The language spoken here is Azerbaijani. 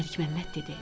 Məlik Məmməd dedi.